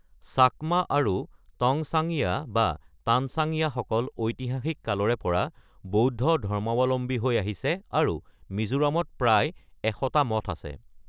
চাকমা আৰু টংচাংয়া বা তানচাংয়াসকল ঐতিহাসিক কালৰে পৰা বৌদ্ধ ধৰ্মাৱলম্বী হৈ আহিছে আৰু মিজোৰামত প্ৰায় এশটা মঠ আছে।